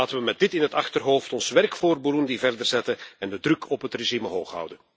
Laten we met dit in het achterhoofd ons werk voor Burundi voortzetten en de druk op het regime hoog houden.